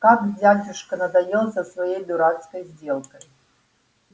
как дядюшка надоел со своей дурацкой сделкой